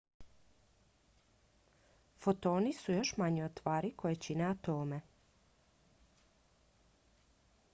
fotoni su još manji od tvari koje čine atome